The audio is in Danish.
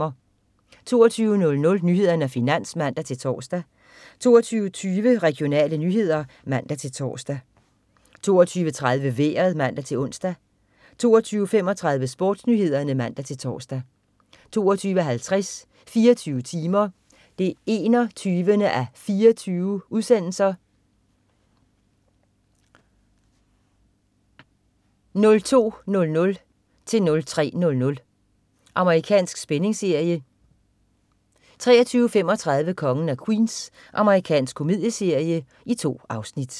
22.00 Nyhederne og Finans (man-tors) 22.20 Regionale nyheder (man-tors) 22.30 Vejret (man-ons) 22.35 SportsNyhederne (man-tors) 22.50 24 timer 21:24. 02:00-03:00. Amerikansk spændingsserie 23.35 Kongen af Queens. Amerikansk komedieserie. 2 afsnit